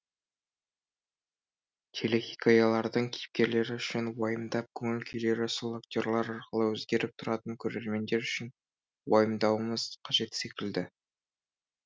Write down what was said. телехикаялардың кейіпкерлері үшін уайымдап көңіл күйлері сол актерлар арқылы өзгеріп тұратын көрермендер үшін уайымдауымыз қажет секілді